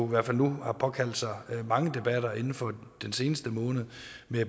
i hvert fald nu har påkaldt sig mange debatter inden for den seneste måned